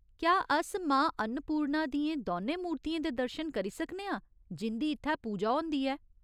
क्या अस मां अन्नपूर्णा दियें दौनें मूर्तियें दे दर्शन करी सकने आं जिं'दी इत्थै पूजा होंदी ऐ?